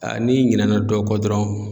n'i ɲinɛ na dɔ kɔ dɔrɔn